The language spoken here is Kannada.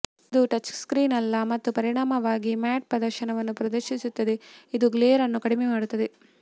ಇದು ಟಚ್ಸ್ಕ್ರೀನ್ ಅಲ್ಲ ಮತ್ತು ಪರಿಣಾಮವಾಗಿ ಮ್ಯಾಟ್ ಪ್ರದರ್ಶನವನ್ನು ಪ್ರದರ್ಶಿಸುತ್ತದೆ ಇದು ಗ್ಲೇರ್ ಅನ್ನು ಕಡಿಮೆ ಮಾಡುತ್ತದೆ